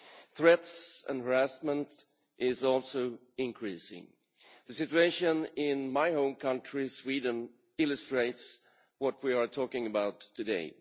Threats and harassment are also increasing. The situation in my home country, Sweden, illustrates what we are talking about today.